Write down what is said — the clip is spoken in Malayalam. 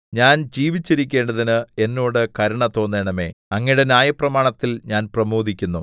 ഞാൻ ജീവിച്ചിരിക്കേണ്ടതിന് എന്നോട് കരുണ തോന്നണമേ അങ്ങയുടെ ന്യായപ്രമാണത്തിൽ ഞാൻ പ്രമോദിക്കുന്നു